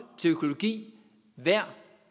til økologi hver